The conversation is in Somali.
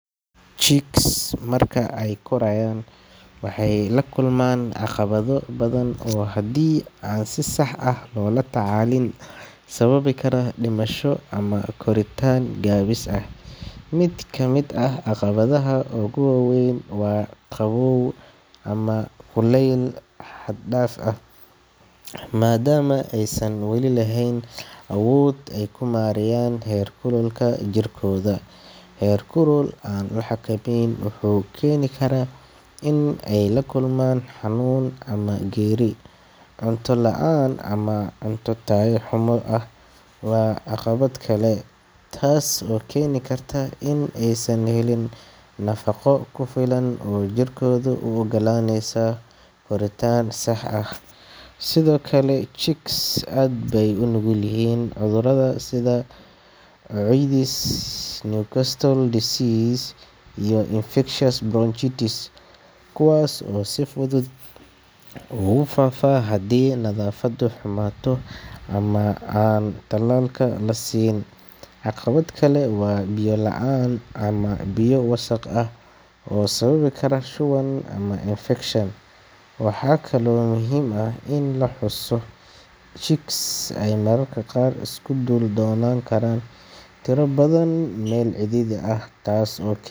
Chicks marka ay korayaan, waxay la kulmaan caqabado badan oo haddii aan si sax ah loola tacaalin sababi kara dhimasho ama koritaan gaabis ah. Mid ka mid ah caqabadaha ugu waaweyn waa qabow ama kulayl xad dhaaf ah. Maadaama aysan weli lahayn awood ay ku maareeyaan heerkulka jirkooda, heerkul aan la xakameynin wuxuu keeni karaa in ay la kulmaan xanuun ama geeri. Cunto la’aan ama cunto tayo xumo ah waa caqabad kale, taas oo keeni karta in aysan helin nafaqo ku filan oo jirkooda u oggolaaneysa koritaan sax ah. Sidoo kale, chicks aad bay u nugul yihiin cudurrada sida coccidiosis, newcastle disease iyo infectious bronchitis kuwaas oo si fudud ugu faafa haddii nadaafaddu xumaato ama aan tallaalka la siin. Caqabad kale waa biyo la’aan ama biyo wasakh ah oo sababi kara shuban ama infekshan. Waxaa kaloo muhiim ah in la xuso in chicks ay mararka qaar isku dul noolaan karaan tiro badan meel cidhiidhi ah, taas oo keen.